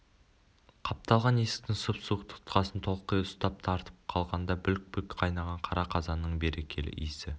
қапталған есіктің сұп-суық тұтқасын толқи ұстап тартып қалғанда бүлк-бүлк қайнаған қара қазанның берекелі иісі